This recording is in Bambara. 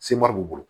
Semɔri b'u bolo